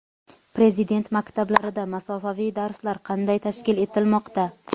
Prezident maktablarida masofaviy darslar qanday tashkil etilmoqda?.